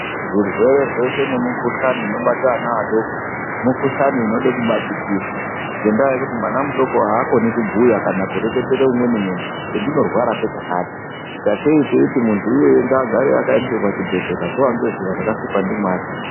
Zvirwere zveshe nemikhuhlani inobate ana adoko mikhuhlani inode kubatikirwa ngendaa yekuti mwana mudoko aakoni kubhuya kana kureketera umweni munhu kuti chendinorwara ngechakati sakei teiti muntu iyeye ngaagare akaiswa pachibhedhlera zuwa ngezuwa rakasikwa ndiMwari.